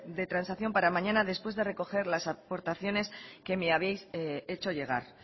de transacción para mañana después de recoger las aportaciones que me habéis hecho llegar